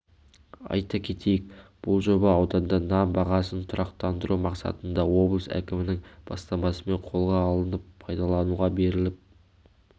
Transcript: айта кетейік бұл жоба ауданда нан бағасын тұрақтандыру мақсатында облыс әкімінің бастамасымен қолға алынып пайдалануға беріліп